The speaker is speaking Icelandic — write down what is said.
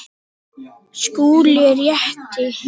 SKÚLI: Rétt!